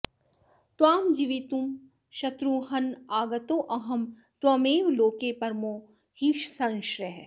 त्वां जीवितुं शत्रुहन्नागतोऽहं त्वमेव लोके परमो हि संश्रयः